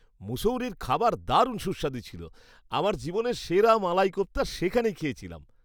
মুসৌরির খাবার দারুণ সুস্বাদু ছিল। আমার জীবনের সেরা মালাই কোপ্তা সেখানেই খেয়েছিলাম।